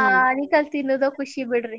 ಆ ಆನಿಕಲ್ ತಿನ್ನದ ಖುಷಿ ಬಿಡ್ರಿ.